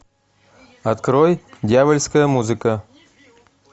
открой дьявольская музыка